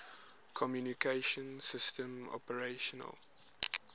communication systems operational